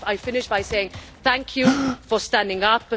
I will finish by saying thank you for standing up.